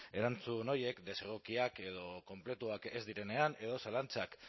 erantzun horiek desegokiak edo konpletuak ez direnean edo zalantzak